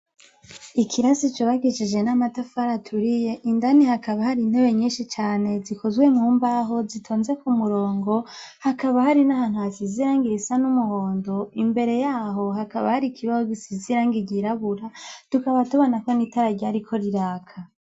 Ikirasi cubakishije n'amatafari aturiye indani hakaba hari intebe nyinshi cane zikozwe mumbaho zitonze ku murongo, hakaba hari nahantu hasize irangi risa n'umuhondo, imbere yaho hakaba hari ikibaho gisize irangi ry'irabura tukaba tubona ko n'itara ryariko riraka.